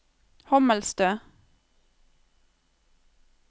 Hommelstø